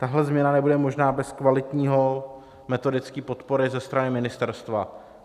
Tahle změna nebude možná bez kvalitní metodické podpory ze strany ministerstva.